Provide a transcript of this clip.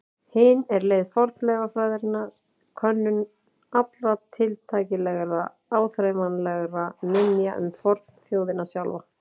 Hin er leið fornleifafræðinnar, könnun allra tiltækilegra áþreifanlegra minja um fornþjóðina sjálfa.